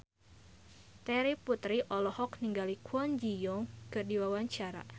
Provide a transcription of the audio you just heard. Terry Putri olohok ningali Kwon Ji Yong keur diwawancara